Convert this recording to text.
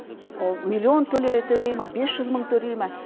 ол миллион төлей ма бес жүз мың төлей ма